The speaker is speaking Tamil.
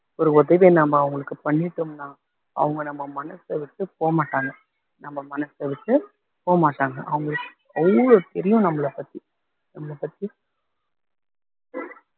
ஒரு உதவியை நாம அவங்களுக்கு பண்ணிட்டோம்ன்னா அவங்க நம்ம மனசை விட்டு போக மாட்டாங்க நம்ம மனசை விட்டு போ மாட்டாங்க அவங்களுக்கு அவ்ளோ தெரியும் நம்மளை பத்தி நம்மளை பத்தி